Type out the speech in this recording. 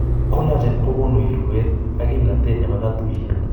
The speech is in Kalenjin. Collagen kogonu irweet ak kimnatet nebo katuiyet